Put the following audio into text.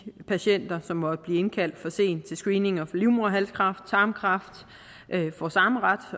patienter som måtte blive indkaldt for sent til screening for livmoderhalskræft og tarmkræft får samme ret